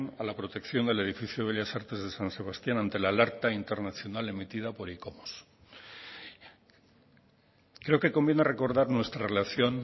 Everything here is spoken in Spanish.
a la protección del edificio bellas artes de san sebastián ante la alerta internacional emitida por icomos creo que conviene recordar nuestra relación